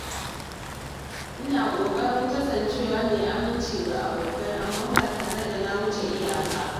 Ina ƙoƙarin kasancewa mai aminci ga abokai amma ba tare da na wuce iyaka ba.